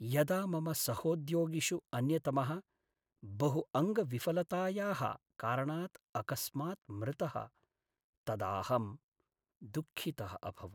यदा मम सहोद्योगिषु अन्यतमः बहुअङ्गविफलतायाः कारणात् अकस्मात् मृतः तदा अहं दुःखितः अभवम्।